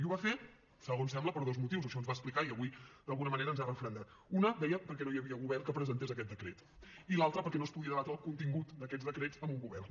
i ho va fer segons sembla per dos motius o això ens va explicar i avui d’alguna manera ens ho ha referendat un deia perquè no hi havia govern que presentés aquest decret i l’altra perquè no es podia debatre el contingut d’aquests decrets amb un govern